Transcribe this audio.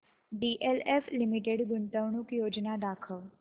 DLF limited गुंतवणूक योजना दाखव